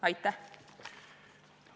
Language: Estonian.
Aitäh!